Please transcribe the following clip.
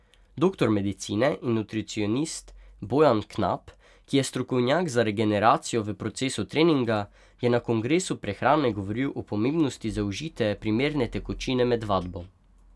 Doktor medicine in nutricionist Bojan Knap, ki je strokovnjak za regeneracijo v procesu treninga, je na Kongresu prehrane govoril o pomembnosti zaužite primerne tekočine med vadbo.